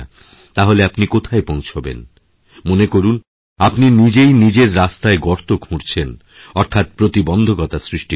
তাহলে আপনি কোথায় পৌঁছাবেন মনে করুন আপনিনিজেই নিজের রাস্তা গর্ত খুঁড়ছেন অর্থাৎ প্রতিবন্ধকতা সৃষ্টি করছেন